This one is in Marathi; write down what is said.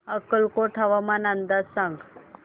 अक्कलकोट हवामान अंदाज सांग